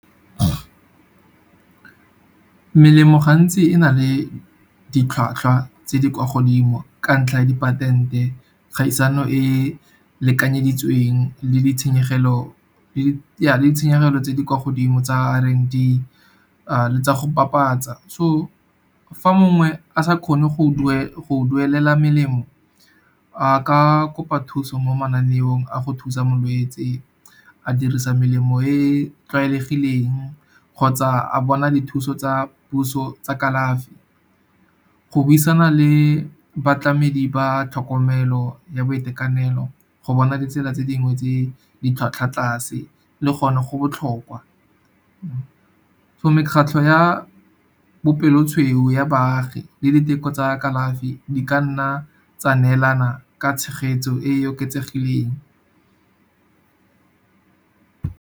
Melemo gantsi e na le ditlhwatlhwa tse di kwa godimo ka ntlha ya di patente. Kgaisano e lekanyeditsweng ja di ditshenyegelo tse di kwa godimo tsa le tsa go papatsa. So, fa mongwe a sa kgone go duelela melemo, a ka kopa thuso mo mananeong a go thusa molwetse, a dirisa melemo e tlwaelegileng kgotsa a bona dithuso tsa puso tsa kalafi. Go buisana le batlamedi ba tlhokomelo ya boitekanelo go bona ditsela tse dingwe tse di tlhwatlhwa tlase le gone go botlhokwa. Mekgatlho ya bopelotshweu ya baagi le diteko tsa kalafi, di ka nna tsa neelana ka tshegetso e e oketsegileng.